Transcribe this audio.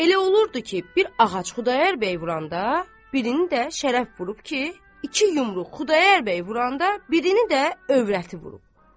Elə olurdu ki, bir ağac Xudayar bəy vuranda birini də Şərəf vurub ki, iki yumruq Xudayar bəy vuranda birini də övrəti vurub.